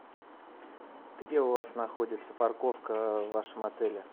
где у вас находится парковка в вашем отеле